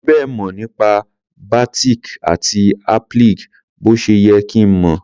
Mi ò fi bẹ́ẹ̀ mọ̀ nípa batik àti applique bó ṣe yẹ kí n mọ̀.